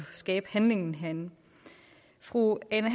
skabe handlingen herinde fru ane